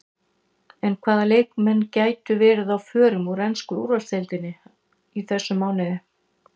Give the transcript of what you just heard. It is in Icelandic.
En hvaða leikmenn gætu verið á förum úr ensku úrvalsdeildinni í þessum mánuði?